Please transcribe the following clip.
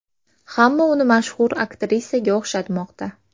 Hamma uni mashhur aktrisaga o‘xshatmoqda .